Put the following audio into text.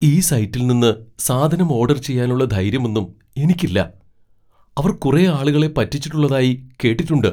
ഈ സൈറ്റിൽ നിന്ന് സാധനം ഓഡർ ചെയ്യാനുള്ള ധൈര്യമൊന്നും എനിക്കില്ല, അവർ കുറെ ആളുകളെ പറ്റിച്ചിട്ടുള്ളതായി കേട്ടിട്ടുണ്ട്.